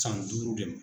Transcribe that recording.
San duuru de ma